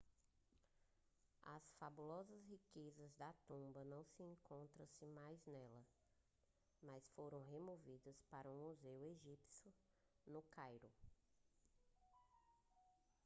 as fabulosas riquezas da tumba não encontram-se mais nela mas foram removidas para o museu egípcio no cairo